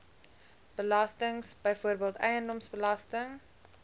belastings byvoorbeeld eiendomsbelasting